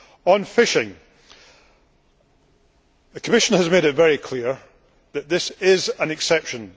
On fishing, the Commission has made it very clear that what we have here is an exception.